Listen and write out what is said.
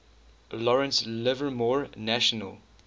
lawrence livermore national